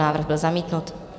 Návrh byl zamítnut.